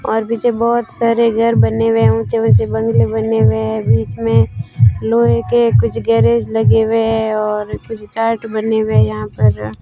और पीछे बहोत सारे घर बने हुए ऊंचे-ऊंचे बंगले बने हुए है बीच में लोहे के कुछ गैरेज लगे हुए है और कुछ चार्ट बने हुए यहां पर --